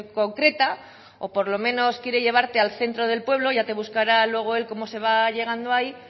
concreta o por lo menos quiere llevarte al centro del pueblo ya te buscará luego cómo se va llegando allí